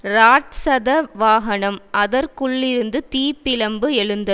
ராட்சத வாகனம் அதற்குள்ளிருந்து தீ பிழம்பு எழுந்தது